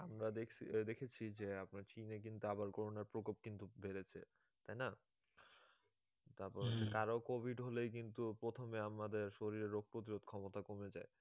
আমরা দেখছি দেখেছি যে আপনার চিনে কিন্তু আবার corona র প্রকোপ কিন্তু বেড়েছে তাই না? তারপর কারো covid হলেই কিন্তু প্রথমে আমাদের শরীরে রোগ প্রতিরোধ ক্ষমতা কমে যায়